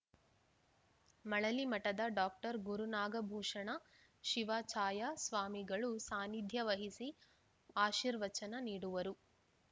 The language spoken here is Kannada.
ಮಳಲಿಮಠದ ಡಾಕ್ಟರ್ ಗುರುನಾಗಭೂಷಣ ಶಿವಾಚಾಯ ಸ್ವಾಮಿಗಳು ಸಾನ್ನಿಧ್ಯ ವಹಿಸಿ ಆಶೀರ್ವಚನ ನೀಡುವರು